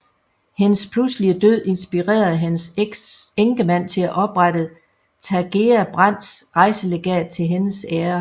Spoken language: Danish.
Hendes pludselige død inspirerede hendes enkemand til at oprette Tagea Brandts Rejselegat til hendes ære